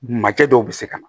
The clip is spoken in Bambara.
Makɛ dɔw bɛ se ka na